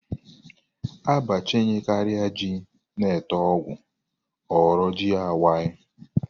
A bachanyekaria ji n 'ite ọgwụ ọ ghọrọ ji awai.